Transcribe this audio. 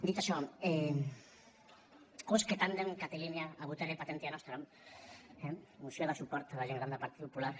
dit això quousque tandem catilina abutere patientia nostra eh moció de suport a la gent gran del partit popular